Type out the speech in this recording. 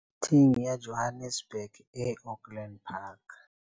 Thing ya Johannes burg e Auckland Park.